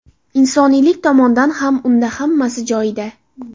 Insoniylik tomondan ham unda hammasi joyida.